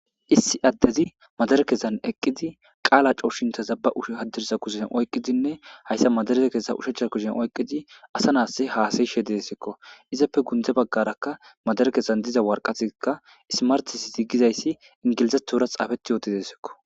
Issi addezi madarekezan eqqidi qaala coushinta zaba ush haddirsa kusen oyqqidinne hayssa madareze keessa ushecha kushen oyqqidi asa nas haasayishe deesikko izappe gundze baggarakka madarekezan diza warqatikka ismartis zigizayssi ingilizatura xaafeti yootidesikko.